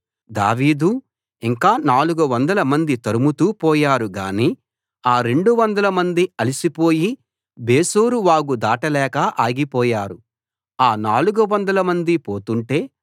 దావీదు ఇంకా 400 మంది తరుముతూ పోయారు గానీ ఆ 200 మంది అలిసి పోయి బెసోరు వాగు దాటలేక ఆగిపోయారు ఆ 400 మంది పోతుంటే